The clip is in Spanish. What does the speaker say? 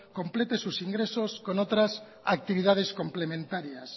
complete sus ingresos con otras actividades complementarias